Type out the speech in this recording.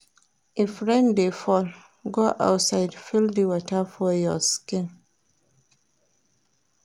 If rain dey fall, go outside feel di water for your skin.